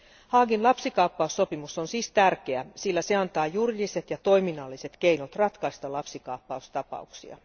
Haagin lapsikaappaussopimus on siis tärkeä, sillä se antaa juridiset ja toiminnalliset keinot ratkaista lapsikaappaustapauksia.